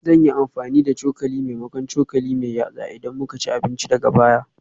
Zan yi amfani da cokali maimakon cokali mai yatsa idan muka ci abinci daga baya